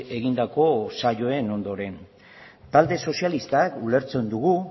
egindako saioen ondoren talde sozialistak ulertzen dugu